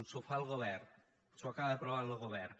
s’ho fa el govern l’acaba aprovant lo govern